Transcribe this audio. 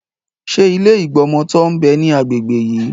Ṣé ilé ìgbọmọtọ́ ń bẹ ní agbègbè yí?